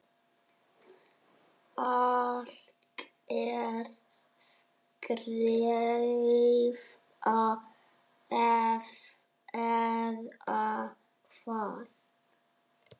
Alger skræfa eða hvað?